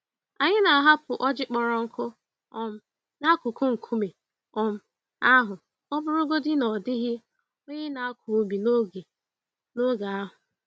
Anyị na-ahapụ ọjị kpọrọ nkụ um n'akụkụ nkume um ahụ ọbụrụgodi na ọ dịghị onye na-akọ ubi n'oge n'oge ahụ.